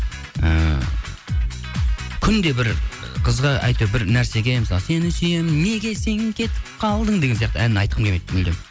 ііі күнде бір ы қызға әйтеуір бір нәрсеге мысалы сені сүйемін неге сен кетіп қалдың деген сияқты ән айтқым келмейді мүлдем